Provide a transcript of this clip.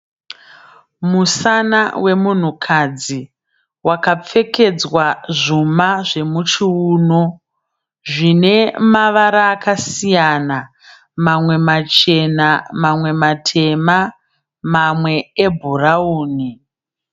Musana wemunhukadzi wakapfekedzwa zvuma zvemuchiuno zvine mavara akasiyana mamwe machena mamwe matema mamwe ebhurawuni.